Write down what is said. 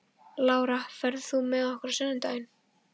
Lára, ferð þú með okkur á sunnudaginn?